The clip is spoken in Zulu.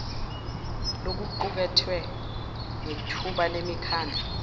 lokuqukethwe nethebula lemikhandlu